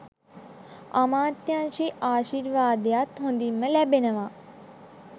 අමාත්‍යාංශයේ ආශිර්වාදයත් හොඳින්ම ලැබෙනවා.